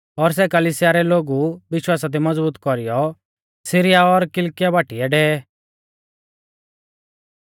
और सै कलिसिया रै लोगु विश्वासा दी मज़बूत कौरीयौ सीरिया और किलकिया बाटीऐ डेवै